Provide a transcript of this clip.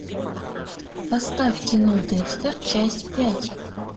поставь кино декстер часть пять